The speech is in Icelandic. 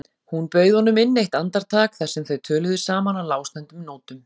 Hún bauð honum inn eitt andartak þar sem þau töluðu saman á lágstemmdum nótum.